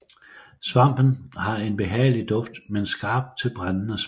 Svampen har en behagelig duft men skarp til brændende smag